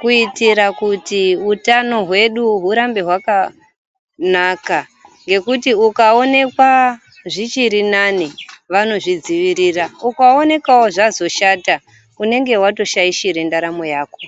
kuitira kuti utano hwedu hurambe hwakanaka ngekuti ukaonekwa zvichiri nane vanozvidzivirira ukaonekwawo zvatoshata unege watoshaishira ndaramo yako